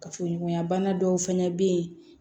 Kafoɲɔgɔnya bana dɔw fana bɛ yen